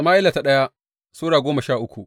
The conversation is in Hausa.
daya Sama’ila Sura goma sha uku